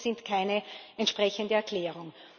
Die Kosten sind keine entsprechende Erklärung.